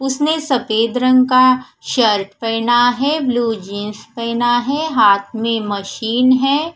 उसने सफ़ेद रंग का शर्ट पहना है ब्लू जींस पहना है हाथ में मशीन है।